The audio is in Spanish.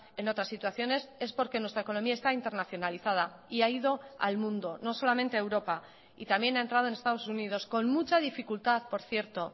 en otras situaciones es porque nuestra economía está internacionalizada y ha ido al mundo no solamente a europa y también ha entrado en estados unidos con mucha dificultad por cierto